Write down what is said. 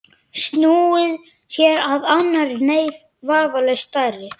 Stella virtist vera að bíða viðbragða hans.